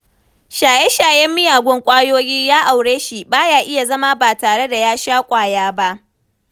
Shaye-shayen miyagun ƙwayoyi ya aure shi, ba ya iya zama ba tare da ya sha ƙwaya ba.